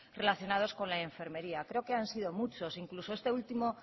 relacionados con la enfermería creo que han sido muchos incluso este último